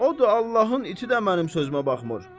O da Allahın iti də mənim sözümə baxmır.